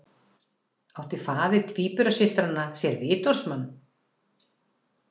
Átti faðir tvíburasystranna sér vitorðsmann